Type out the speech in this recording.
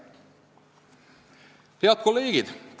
Head kolleegid!